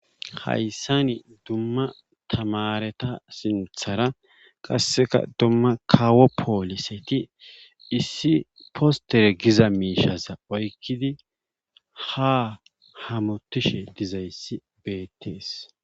Hayssan dumma tamareta sinthara qassekka dumma kawo poliseti issi potere giza mishaza oyqidi ha hamutishe dizayssi beetee.